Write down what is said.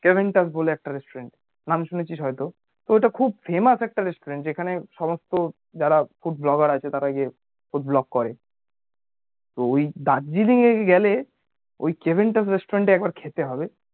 কেভেন্টাস বলে একটা restaurant নাম শুনেছিস হয়তো তো ঐটা খুব famous একটা restaurant যেখানে সমস্ত যারা food blogger আছে তারা গিয়ে food blog করে তো ওই দার্জিলিং এ গেলে ওই কেভেন্টাস restaurant এ একবার খেতে হবে